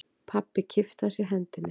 Pabbi kippti að sér hendinni.